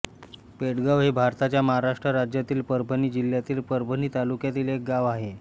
पेडगाव हे भारताच्या महाराष्ट्र राज्यातील परभणी जिल्ह्यातील परभणी तालुक्यातील एक गाव आहे